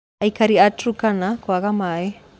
Aikari a Turkana kwaga maaĩ